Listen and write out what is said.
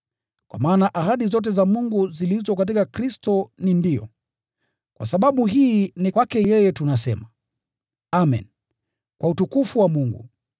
Kwa maana ahadi zote za Mungu zilizo katika Kristo ni “Ndiyo.” Kwa sababu hii ni kwake yeye tunasema “Amen” kwa utukufu wa Mungu.